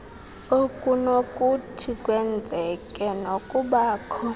okunokuthi kwenzeke nokubakho